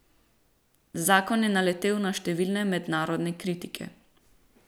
Zakon je naletel na številne mednarodne kritike.